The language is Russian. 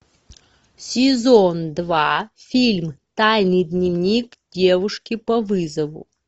сезон два фильм тайный дневник девушки по вызову